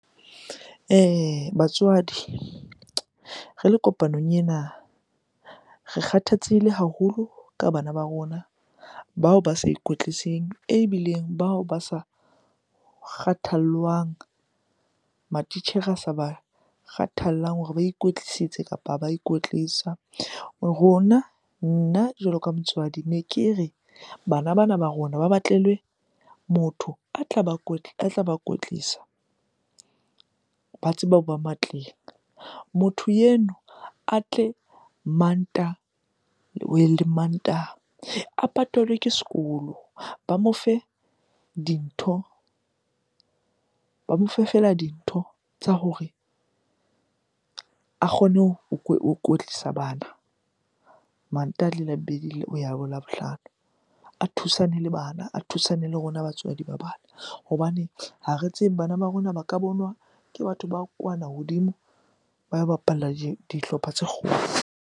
Batswadi re le kopanong ena, re kgathatsehile haholo ka bana ba rona bao ba sa ikwetliseng eo ebileng bao ba sa kgathallwang, matitjhere a sa ba kgathallang hore ba ikwetlisitse kapa ha ba ikwetlisa. Rona, nna jwalo ka motswadi ne ke re bana bana ba rona ba batlelwe motho a tla ba kwetlisa ba tsebe hoba matleng. Motho eno a tle Mantaha le Mantaha, a patalwe ke sekolo. Ba mo fe dintho, ba mo fe feela dintho tsa hore a kgone ho kwetlisa bana Mantaha le Labobedi le hoya Labohlano. A thusane le bana a thusane le rona batswadi ba bana hobane ha re tsebe bana ba rona ba ka bonwa ke batho ba kwana hodimo, ba bapalla dihlopha tse kgolo.